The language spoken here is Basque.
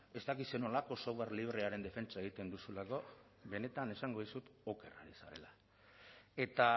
ez dakit zer nolako software librearen defentsa egiten duzulako benetan esango dizut oker zarela eta